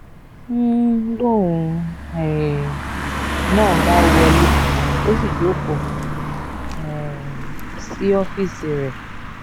n lóun um náà bá wọlé ó sì jókòó um sí ọ́fíìsì rẹ̀